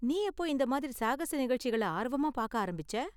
நீ எப்போ இந்த மாதிரி சாகச நிகழ்ச்சிகள ஆர்வமா பாக்க ஆரம்பிச்சே?